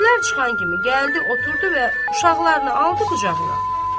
İşlər çıxan kimi gəldi, oturdu və uşaqlarını aldı qucağına.